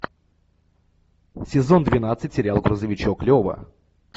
сезон двенадцать сериал грузовичок лева